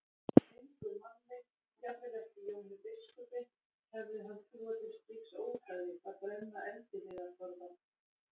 Engum manni, jafnvel ekki Jóni biskupi, hefði hann trúað til slíks ódæðis að brenna eldiviðarforða.